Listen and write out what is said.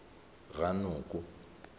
ranoko